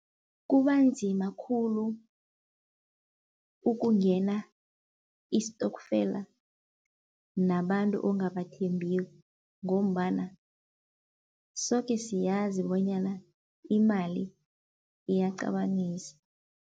Kubanzima khulu ukungena isitokfela nabantu ongabathembiko ngombana soke siyazi bonyana imali iyaqabanisa.